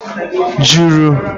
juru